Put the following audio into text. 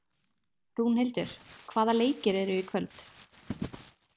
Rúnhildur, hvaða leikir eru í kvöld?